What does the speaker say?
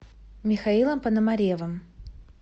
михаилом пономаревым